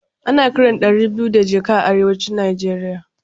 Ana kiran ɗari biyu da jaka a arewacin Nigeria